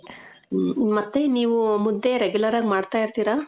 ಮ್ಮ. ಮತ್ತೆ ನೀವು ಮುದ್ದೆ regular ಆಗ್ ಮಾಡ್ತಾ ಇರ್ತೀರ?